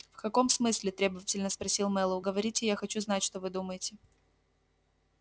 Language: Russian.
в каком смысле требовательно спросил мэллоу говорите я хочу знать что вы думаете